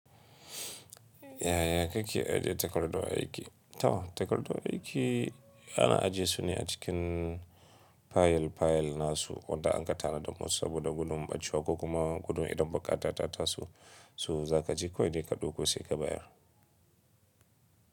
Yaya kake ajiye takardu aiki? To, takardu aiki ana ajiye su ne a cikin fayil-fayil nasu wanda ankatara domin saboda gudun ɓacewa ko kuma gudun idan baƙata ta taso. So za ka je kawai ne ka ɗauko sai ka bayar.